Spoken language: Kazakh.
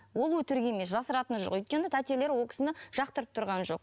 ол өтірік емес жасыратыны жоқ өйткені тәтелері ол кісіні жақтырып тұрған жоқ